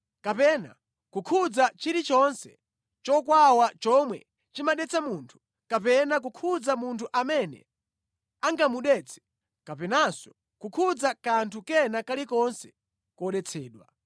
kapena kukhudza chilichonse chokwawa chomwe chimadetsa munthu, kapena kukhudza munthu amene angamudetse, kapenanso kukhudza kanthu kena kalikonse kodetsedwa.